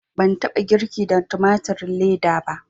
Ban taɓa girki da tumatirin leda ba